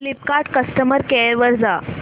Flipkart customer care वर जा